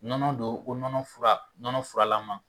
Nɔnɔ don ko nɔnɔ fura nɔnɔ fuaralaman